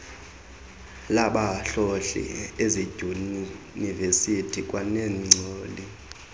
labahlohli ezidyunivesiti kwaneengcali